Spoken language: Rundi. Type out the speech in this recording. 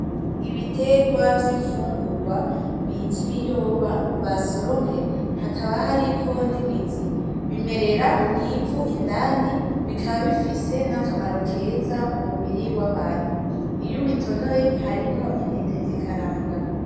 Ibitegwa vy'imfungugwa bit 'ibiyoba basoromye, hakaba hariko nimizi bimerera mw'ivu indani bikaba bifise nakamaro keza mu mubiri wabantu iyo ubitonoye harimwo intete zikaranga.